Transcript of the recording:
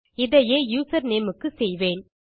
இதையே யூசர்நேம் க்கு செய்வேன்